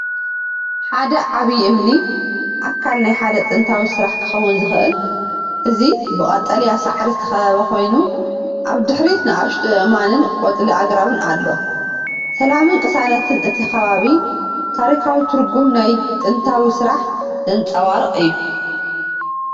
ሓደ ዓቢ እምኒ፡ ኣካል ናይ ሓደ ጥንታዊ ስራሕ ክኸውን ዝኽእል፡ እዚ ብቀጠልያ ሳዕሪ ዝተኸበበ ኮይኑ፡ ኣብ ድሕሪት ንኣሽቱ ኣእማንን ቆጽሊ ኣግራብን ኣሎ። ሰላምን ቅሳነትን እቲ ከባቢ ታሪኻዊ ትርጉም ናይቲ ጥንታዊ ስራሕ ዘንጸባርቕ እዩ።